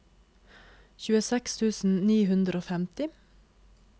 tjueseks tusen ni hundre og femti